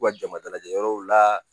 U ka jama dalajɛ yɔrɔw la